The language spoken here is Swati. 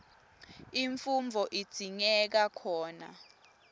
imfundvo idzingeka khona